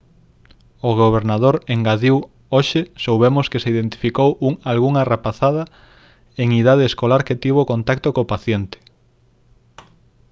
o gobernador engadiu hoxe soubemos que se identificou algunha rapazada en idade escolar que tivo contacto co paciente